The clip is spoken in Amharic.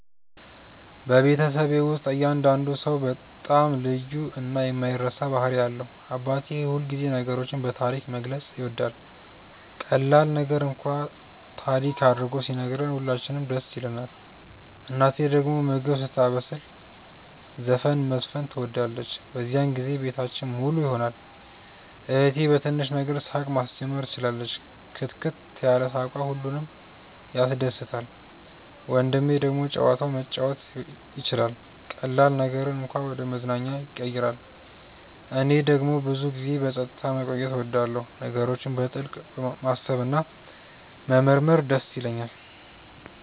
በቤተሰቤ ውስጥ እያንዳንዱ ሰው በጣም ልዩ እና የማይረሳ ባህሪ አለው። አባቴ ሁልጊዜ ነገሮችን በታሪክ መግለጽ ይወዳል፤ ቀላል ነገር እንኳን ታሪክ አድርጎ ሲነግረን ሁላችንም ደስ ይለንናል። እናቴ ደግሞ ምግብ ስታበስል ዘፈን መዝፈን ትወዳለች፤ በዚያን ጊዜ ቤታችን ሙሉ ይሆናል። እህቴ በትንሽ ነገር ሳቅ ማስጀመር ትችላለች፣ ክትክት ያለ ሳቅዋ ሁሉንም ያስደስታል። ወንድሜ ደግሞ ጨዋታ መጫወት ይችላል፤ ቀላል ነገርን እንኳን ወደ መዝናኛ ያቀይራል። እኔ ደግሞ ብዙ ጊዜ በጸጥታ መቆየት እወዳለሁ፣ ነገሮችን በጥልቅ ማሰብ እና መመርመር ይደስ ይለኛል።